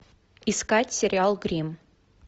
искать сериал гримм